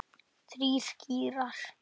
Þrír gírar.